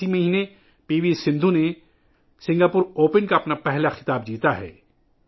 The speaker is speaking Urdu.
اس ماہ پی وی سندھو نے سنگاپور اوپن کا اپنا پہلا خطاب جیتا ہے